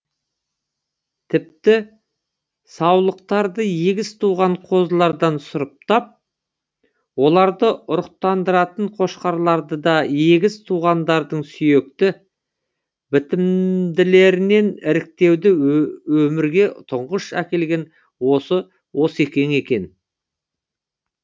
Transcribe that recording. тіпті саулықтарды егіз туған қозылардан сұрыптап оларды ұрықтандыратын қошқарларды да егіз туғандардың сүйекті бітімділерінен іріктеуді де өмірге тұңғыш әкелген осы осекең екен